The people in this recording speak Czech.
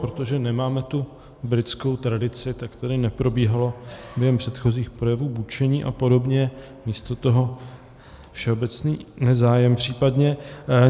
Protože nemáme tu britskou tradici, tak tady neprobíhalo během předchozích projevů bučení a podobně, místo toho všeobecný nezájem případně.